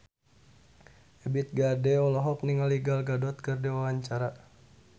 Ebith G. Ade olohok ningali Gal Gadot keur diwawancara